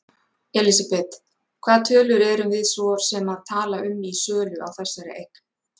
Elísabet: Hvaða tölur erum við svo sem að tala um í sölu á þessari eign?